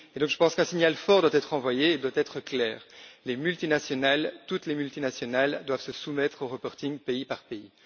Je pense donc qu'un signal fort et clair doit être envoyé les multinationales toutes les multinationales doivent se soumettre au reporting pays par pays.